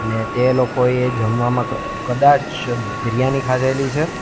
અને તે લોકોએ જમવામાં ક કદાચ બિરયાની ખાધેલી છે.